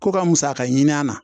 Ko ka musaka ɲini a na